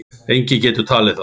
Enginn getur talið þá.